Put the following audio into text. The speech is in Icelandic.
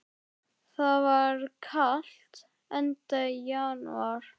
Það var kalt, enda janúar.